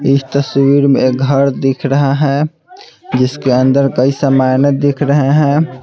इस तस्वीर में घर दिख रहा है जिसके अंदर कई सामाने दिख रहे हैं।